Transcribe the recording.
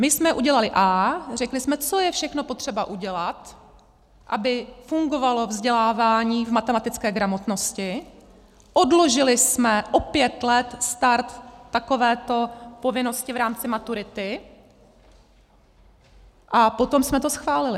My jsme udělali A, řekli jsme, co je všechno potřeba udělat, aby fungovalo vzdělávání v matematické gramotnosti, odložili jsme o pět let start takovéto povinnosti v rámci maturity, a potom jsme to schválili.